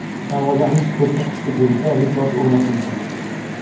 Davolanish ko‘rsatkichi bo‘yicha rekord o‘rnatildi.